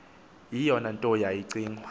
eyona nto yayicingwa